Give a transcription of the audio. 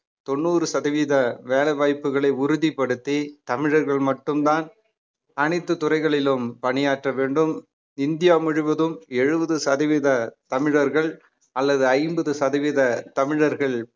தொண்ணூறு சதவீத வேலை வாய்ப்புகளை உறுதிப்படுத்தி தமிழர்கள் மட்டும்தான் அனைத்து துறைகளிலும் பணியாற்ற வேண்டும் இந்தியா முழுவதும் எழுபது சதவீத தமிழர்கள் அல்லது ஐம்பது சதவீத தமிழர்கள்